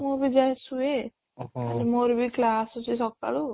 ମୁଁ ବି ଯାଏ ଶୁଏ ମୋର ବି class ଅଛି ସକାଳୁ